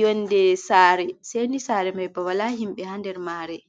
Yonde sare, seni sare mai ba wala himbe ha nder sare mai